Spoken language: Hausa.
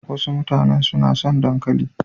Wasu mutanen su na son dankali.